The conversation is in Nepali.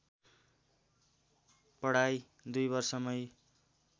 पढाइ दुई वर्षमै